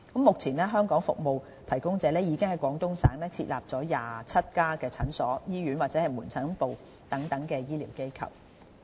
目前，香港服務提供者已經在廣東省設立了27家診所、醫院或門診部等醫療機構。